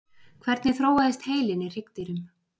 Hvernig þróaðist heilinn í hryggdýrum?